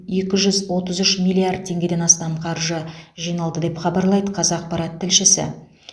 екі жүз отыз үш миллиард теңгеден астам қаржы жиналды деп хабарлайды қазақпарат тілшісі